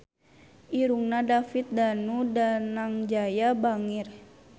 Irungna David Danu Danangjaya bangir